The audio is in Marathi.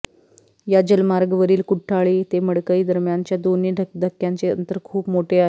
या जलमार्गावरील कुठ्ठाळी ते मडकई दरम्यानच्या दोन्ही धक्क्यांचे अंतर खूप मोठे आहे